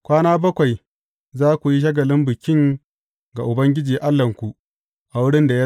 Kwana bakwai za ku yi shagalin Bikin ga Ubangiji Allahnku a wurin da ya zaɓa.